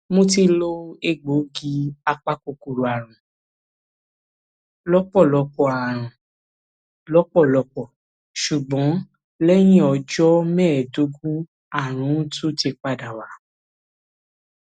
mo ti lo egbòogi apakòkòrò àrùn lọpọlọpọ àrùn lọpọlọpọ ṣùgbọn lẹyìn ọjọ mẹẹẹdógún àrùn uti tún padà wá